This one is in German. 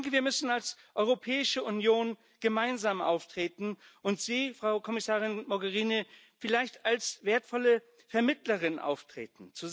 Wir müssen als Europäische Union gemeinsam auftreten und Sie, Frau Kommissarin Mogherini, vielleicht als wertvolle Vermittlerin auftreten.